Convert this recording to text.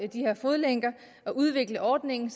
de her fodlænker og udvikle ordningen